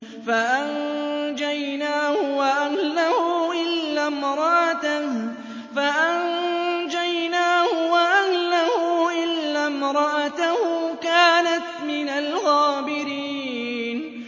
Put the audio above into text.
فَأَنجَيْنَاهُ وَأَهْلَهُ إِلَّا امْرَأَتَهُ كَانَتْ مِنَ الْغَابِرِينَ